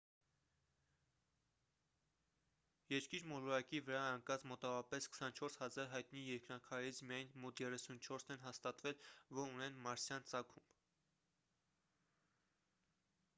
երկիր մոլորակի վրա ընկած մոտավորապես 24 000 հայտնի երկնաքարերից միայն մոտ 34-ն են հաստատվել որ ունեն մարսյան ծագում